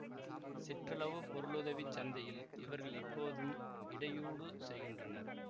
சிற்றளவு பொருளுதவிச் சந்தையில் இவர்கள் இப்போதும் இடையூடு செய்கின்றனர்